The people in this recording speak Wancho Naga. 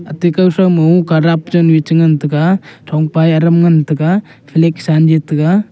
ate kau thoumo kadap chanu ye chi ngantaga thongpa ye adam chi ngantaga liksan tiga.